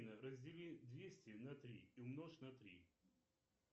афина раздели двести на три и умножь на три